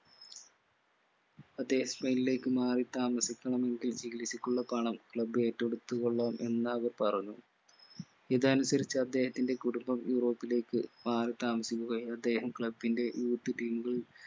അദ്ദേഹം സ്പൈൻലേക്ക് മാറി താമസിക്കണം ചികിത്സക്കുള്ള പണം club ഏറ്റെടുത്തു കൊള്ളാം എന്നവർ പറഞ്ഞു ഇതനുസരിച് അദ്ദേഹത്തിന്റെ കുടുംബം യൂറോപ്പിലേക്ക് മാറി താമസിക്കുകയും അദ്ദേഹം club ന്റെ youth team കൾ